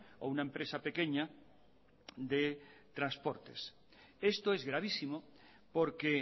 o una empresa pequeña de transportes esto es gravísimo porque